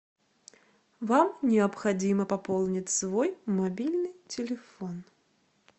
вам необходимо пополнить свой мобильный телефон